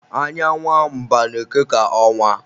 Anya nwa mba na-eke ka ọnwa